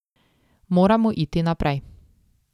Moramo iti naprej.